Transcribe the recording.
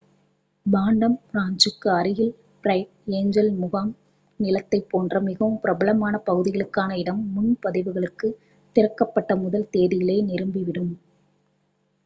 Phantom ராஞ்ச்சுக்கு அருகிலுள்ள Bright Angel முகாம்நிலத்தைப் போன்ற மிகவும் பிரபலமான பகுதிகளுக்கான இடம் முன்பதிவுகளுக்குத் திறக்கப்பட்ட முதல் தேதியிலேயே நிரம்பிவிடும்